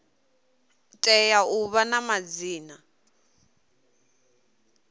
tea u vha na madzina